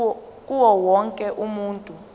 kuwo wonke umuntu